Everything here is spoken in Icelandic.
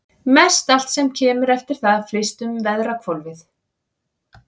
Mestallt sem kemur eftir það flyst um veðrahvolfið.